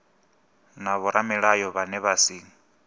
na vhoramilayo vhane vha si